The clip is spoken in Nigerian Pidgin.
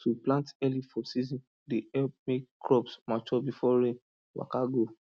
to plant early for season dey help make crops mature before rain waka go